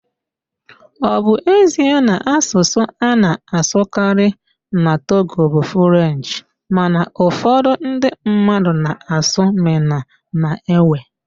Ọ bụ ezie na asụsụ a na-asụkarị na Togo bụ Frenchị mana ụfọdụ​ ndị mmadụ na-asụ Mịna na Ewe